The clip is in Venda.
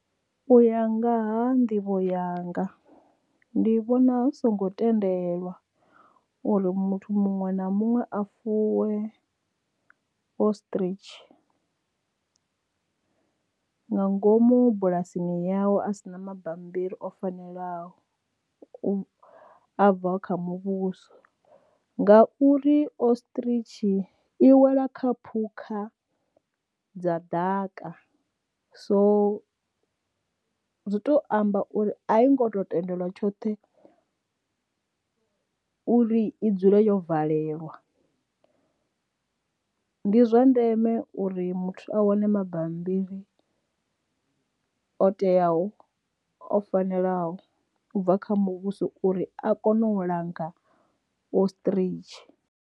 U ya nga ha nḓivho yanga ndi vhona hu songo tendelwa, uri muthu muṅwe na muṅwe a fuwe ostrich nga ngomu bulasini yawe a si na mabambiri o fanelaho a bva kha muvhuso nga uri ostrich i wela kha phukha dza ḓaka so zwi to amba uri a i ngo to tendelwa tshoṱhe uri i dzule yo valelwa ndi zwa ndeme uri muthu a wane mabambiri o teaho o fanelaho u bva kha muvhuso uri a kone u langa ostrich.